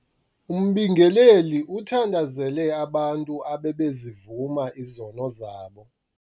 Umbingeleli uthandazele abantu abebezivuma izono zabo.